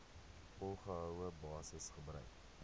volgehoue basis gebruik